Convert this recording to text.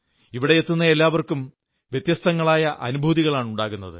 ഇവിടെ എത്തുന്ന എല്ലാവർക്കും വ്യത്യസ്തങ്ങളായ അനുഭൂതികളാണുണ്ടാകുന്നത്